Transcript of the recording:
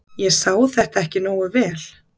Ég sá þetta ekki nógu vel.